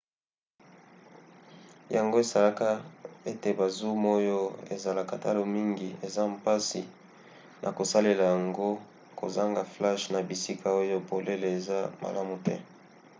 yango esalaka ete ba zoom oyo ezalaka talo mingi eza mpasi na kosalela yango kozanga flashe na bisika oyo polele eza malamu te